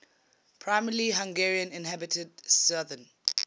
primarily hungarian inhabited southern